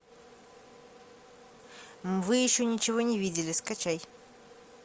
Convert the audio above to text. вы еще ничего не видели скачай